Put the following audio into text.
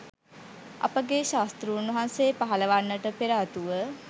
අපගේ ශාස්තෘන් වහන්සේ පහළ වන්නට පෙරාතුව